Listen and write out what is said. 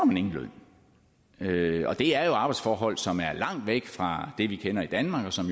man ingen løn for og det er jo arbejdsforhold som er langt væk fra det vi kender i danmark og som